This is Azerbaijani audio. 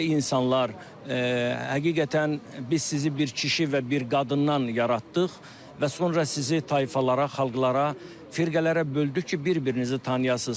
Ey insanlar, həqiqətən biz sizi bir kişi və bir qadından yaratdıq və sonra sizi tayfalara, xalqlara, firqələrə böldük ki, bir-birinizi tanıyasınız.